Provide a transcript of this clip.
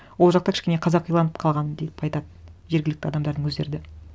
ол жақта кішкене қазақиланып калған деп айтады жергілікті адамдардың өздері де